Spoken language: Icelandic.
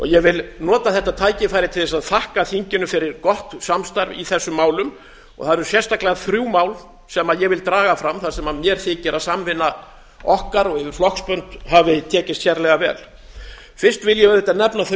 ég vil nota þetta tækifæri til þess að þakka þinginu fyrir gott samstarf í þessum málum og það eru sérstaklega þrjú mál sem ég vil draga fram þar sem mér þykir að samvinna okkar og yfir flokksbönd hafi tekist sérlega vel fyrst vil ég auðvitað nefna þau